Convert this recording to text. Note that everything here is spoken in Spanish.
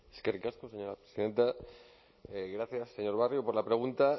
eskerrik asko señora presidenta gracias señor barrio por la pregunta